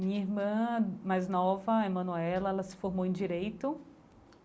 Minha irmã mais nova, Emanuela, ela se formou em direito.